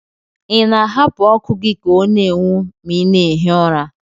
Ị na-ahapụ ọkụ gị ka ọ na-enwu ma ị na-ehi ụra?